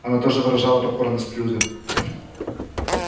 она тоже выражала покорность людям